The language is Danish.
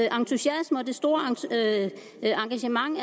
entusiasme og det store engagement